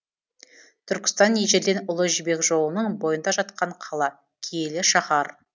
түркістан ежелден ұлы жібек жолының бойында жатқан қала киелі шаһар